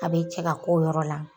A bɛ cɛ ka ko yɔrɔ la.